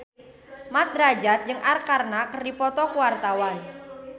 Mat Drajat jeung Arkarna keur dipoto ku wartawan